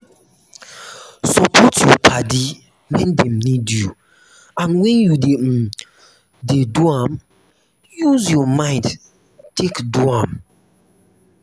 support your padi when dem need you and when you um dey um do am use your mind take do am